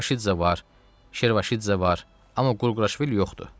Avaşidze var, Şervaşidze var, amma Qurquraşvili yoxdur.